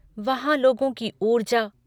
वहाँ लोगों की ऊर्जा!